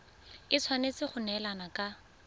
e tshwanetse go neelana ka